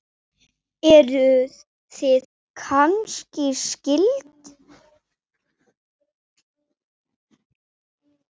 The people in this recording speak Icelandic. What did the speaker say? Eruð þið kannski skyld?